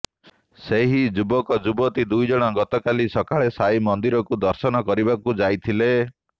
ସେହି ଯୁବକ ଯୁବତୀ ଦୁଇଜଣ ଗତକାଲି ସକାଳେ ସାଇ ମନ୍ଦିରକୁ ଦର୍ଶନ କରିବାକୁ ଯାଇଥିଲେ